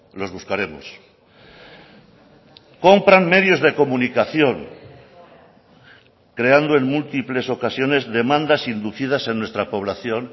los buscaremos compran medios de comunicación creando en múltiples ocasiones demandas inducidas en nuestra población